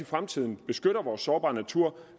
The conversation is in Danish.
fremtiden beskytter vores sårbare natur